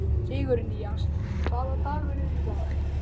Sigurnýjas, hvaða dagur er í dag?